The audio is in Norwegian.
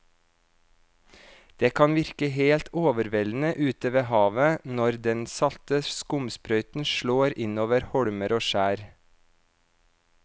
Det kan virke helt overveldende ute ved havet når den salte skumsprøyten slår innover holmer og skjær.